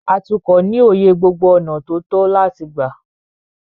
Atukọ̀ ní òye gbogbo ọ̀nà tó tọ́ láti gbà.